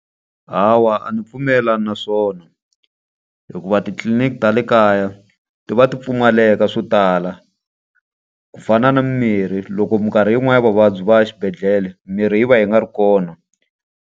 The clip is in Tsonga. Hawa a ndzi pfumelelani na swona. Hikuva titliliniki ta le kaya ti va ti pfumaleka swo tala ku fana na mirhi. Loko minkarhi yin'wani ya vavabyi va ya exibedhlele, mirhi yi va yi nga ri kona.